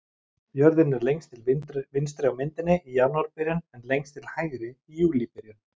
Jörðin er lengst til vinstri á myndinni í janúarbyrjun en lengst til hægri í júlíbyrjun.